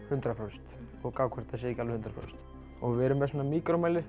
hundrað prósent og gá hvort að þetta sé ekki alveg hundrað prósent og við erum með svona